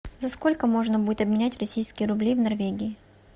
за сколько можно будет обменять российские рубли в норвегии